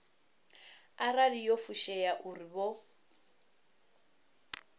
arali yo fushea uri vho